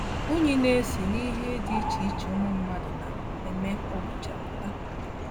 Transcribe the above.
Unyí na - esi n’ihe dị iche iche ụmụ mmadụ na - eme kwa ụbọchị apụta.